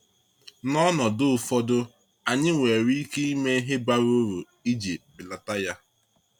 N’ọnọdụ ụfọdụ, anyị nwere ike ime ihe bara uru iji belata ya.